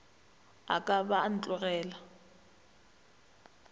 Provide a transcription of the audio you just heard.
a ka ba a ntogela